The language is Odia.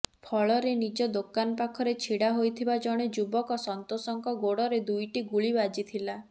ଫଳରେ ନିଜ ଦୋକାନ ପାଖରେ ଛିଡା ହୋଇଥିବା ଜଣେ ଯୁବକ ସନ୍ତୋଷଙ୍କ ଗୋଡରେ ଦୁଇଟି ଗୁଳି ବାଜିଥିଲା